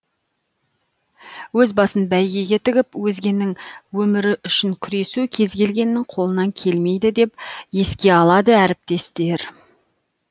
өз басын бәйгеге тігіп өзгенің өмірі үшін күресу кез келгеннің қолынан келмейді деп еске алады әріптестер